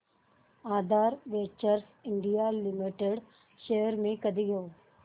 आधार ventures India limited shares मी कधी घेऊ